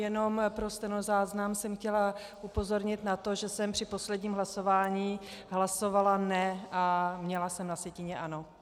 Jenom pro stenozáznam jsem chtěla upozornit na to, že jsem při posledním hlasování hlasovala ne, a měla jsem na sjetině ano.